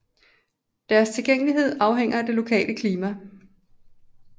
Deres tilgængelighed afhænger af det lokale klima